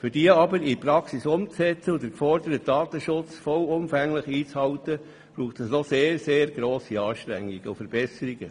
Um diese aber in die Praxis umzusetzen und den geforderten Datenschutz vollumfänglich einzuhalten, braucht es noch sehr, sehr grosse Anstrengungen und Verbesserungen.